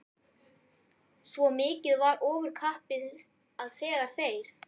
Svo mikið var ofurkappið að þegar þeir